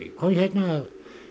kom hérna